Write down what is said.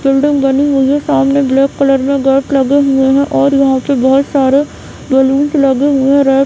building बनी हुई है सामने ब्लेक कलर में गेट लगे हुआ है और यहाँ पे बहुत सारे रेलिंग लगी हुई हैं --